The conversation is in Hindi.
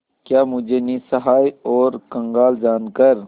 क्या मुझे निस्सहाय और कंगाल जानकर